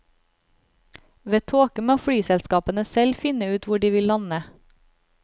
Ved tåke må flyselskapene selv finne ut hvor de vil lande.